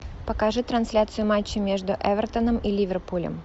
покажи трансляцию матча между эвертоном и ливерпулем